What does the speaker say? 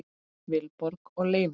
Vilborg og Leifur.